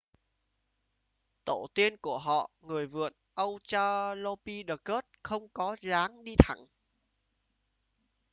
tổ tiên của họ người vượn australopithecus không có dáng đi thẳng